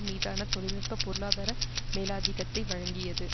மீதான தொழில் நுட்ப பொருளாதார மேலாதிக்கத்தை வழங்கியது